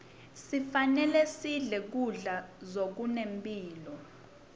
sifanelesidle kudla zokunemphilo